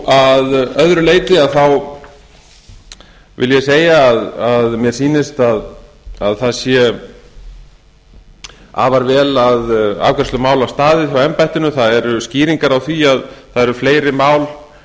að öðru leyti vil ég segja að mér sýnist afar vel að afgreiðslu mála staðið hjá embættinu þar eru skýringar á því að það eru fleiri mál